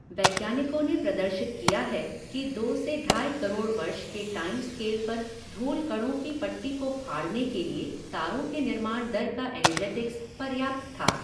वैज्ञानिकों ने प्रदर्शित किया है कि दो से ढाई करोड़ वर्ष के टाइम स्केल पर धूल कणों की पट्टी को फाड़ने के लिए तारों के निर्माण दर का एनर्जेटिक्स पर्याप्त था।